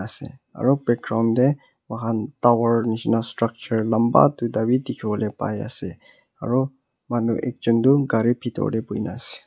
ase aru background tae moi khan tower neshina structure lanba duita vi dekhivo pai ase aru manu ekjon toh gari bithor tae bhuina ase.